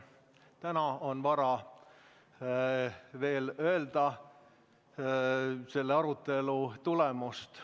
Täna on veel vara öelda, mis on selle arutelu tulemus.